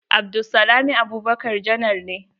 Abdulsalami Abubakar janar ne.